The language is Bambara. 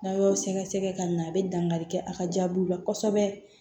N'a y'o sɛgɛsɛgɛ ka na a bɛ dankari kɛ a ka jaabiw la kosɛbɛ